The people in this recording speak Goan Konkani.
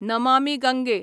नमामी गंगे